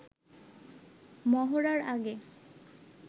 মহড়ার আগে